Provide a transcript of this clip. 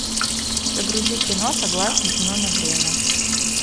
загрузи кино согласен но на время